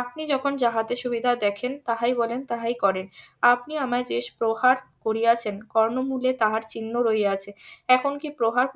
আপনি যখন যাহাতে সুবিধা দেখেন তাহাই বলেন তাহাই করেন আপনি আমায় যে প্রহার করিয়াছেন কর্ণমূলে তাহার চিহ্নও রহিয়াছে এখন কি প্রহার